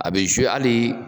A bɛ hali.